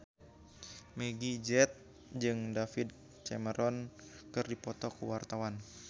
Meggie Z jeung David Cameron keur dipoto ku wartawan